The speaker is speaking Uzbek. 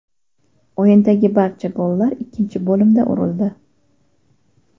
O‘yindagi barcha gollar ikkinchi bo‘limda urildi.